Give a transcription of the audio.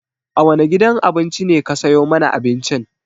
A wane gidan abinci ne ka sayo mana abincin?